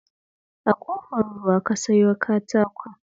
A Ƙofar Ruwa ka sayo katakon?